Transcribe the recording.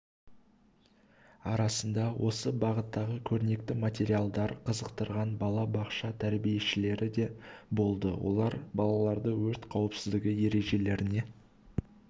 арасында осы бағыттағы көрнекті материалдар қызықтырған бала-бақша тәрбиешілері де болды олар балаларды өрт қауіпсіздігі ережелеріне